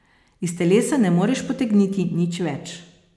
Iz telesa ne moreš potegniti nič več.